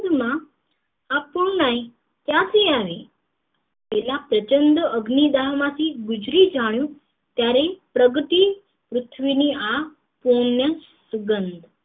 માં line ક્યાં થી આવી પેલા પ્રચંડ અગ્નિદાન માંથી ગુજરી જાણું ત્યારે પ્રગટી પૃથ્વી ની આ પુર્નસુગંધ